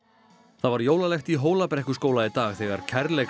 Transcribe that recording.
það var jólalegt í Hólabrekkuskóla í dag þegar